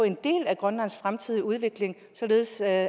en del af grønlands fremtidige udvikling således at